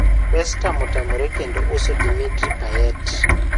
West Ham otamore kendo uso Dimitri Payet